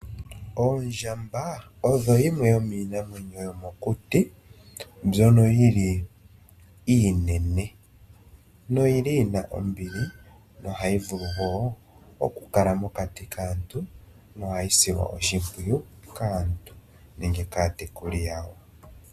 Oondjamba odho dhimwe dhomiinamwenyo yomokuti mbyono yili iinene yo oyili yina ombili yo ohayi vulu woo okukala mokati kaantu no ohayi silwa oshimpwiyu kaantu nenge kaatekuli yawo.